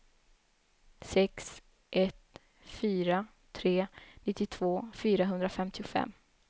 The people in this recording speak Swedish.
sex ett fyra tre nittiotvå fyrahundrafemtiofem